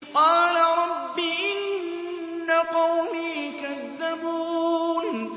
قَالَ رَبِّ إِنَّ قَوْمِي كَذَّبُونِ